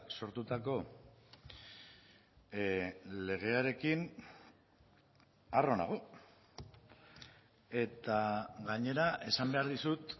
sortutako legearekin harro nago eta gainera esan behar dizut